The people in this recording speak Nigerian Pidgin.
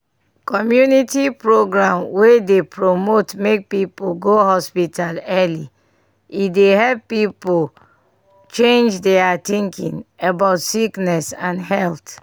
community programs wey dey promote make people go hospital early e dey help people change their thinking about sickness and health.